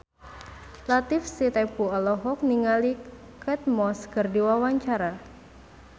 Latief Sitepu olohok ningali Kate Moss keur diwawancara